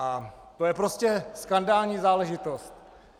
A to je prostě skandální záležitost!